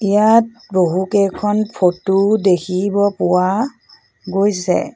ইয়াত বহুকেইখন ফটো দেখিব পোৱা গৈছে।